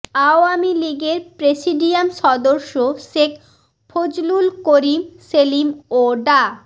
আওয়ামী লীগের প্রেসিডিয়াম সদস্য শেখ ফজলুল করিম সেলিম ও ডা